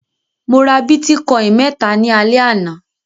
Mo ra bítíkọ́ìn mẹ́ta ní alẹ́ àná.